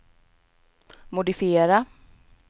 modifiera